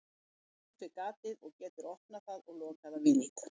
Hann sest við gatið og getur opnað það og lokað að vild.